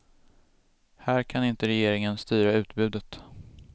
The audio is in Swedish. Här kan inte regeringen styra utbudet.